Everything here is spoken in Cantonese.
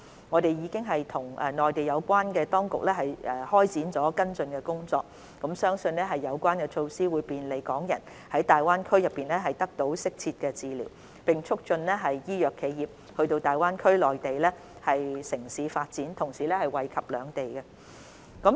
我們已與內地有關當局展開跟進工作，並相信有關措施將便利港人在大灣區內得到適切治療，並促進醫藥企業到大灣區內地城市發展，同時惠及兩地。